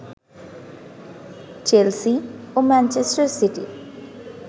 Chelsea ও Manchester city